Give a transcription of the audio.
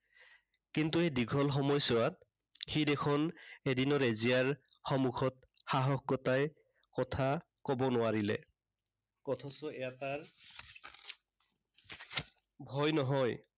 কিন্তু এই দীঘল সময়ছোৱাত সি দেখোন এদিনো ৰেজিয়াৰ সন্মুখত সাহস গোটাই কথা কব নোৱাৰিলে। অথচ এবাৰ ভয় নহয়।